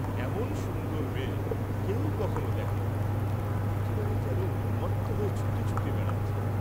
এমন সুন্দর মেয়ে, কেউ কখনো দেখেনি, একেবারে যেন উন্মত্ত হয়ে ছুটে ছুটে বেড়াচ্চে।